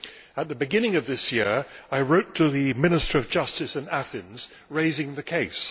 At the beginning of this year, I wrote to the Minister of Justice in Athens raising the case.